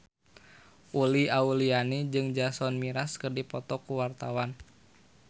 Uli Auliani jeung Jason Mraz keur dipoto ku wartawan